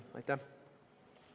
Aitäh!